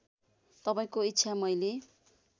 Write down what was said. तपाईँको इच्छा मैले